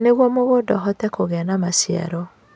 Nĩguo mũgũnda ũhote kũgĩa na maciaro